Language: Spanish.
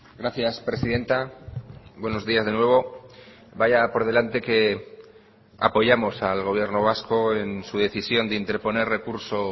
gracias presidenta buenos días de nuevo vaya por delante que apoyamos al gobierno vasco en su decisión de interponer recurso